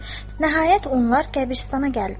Nəhayət, onlar qəbiristana gəldilər.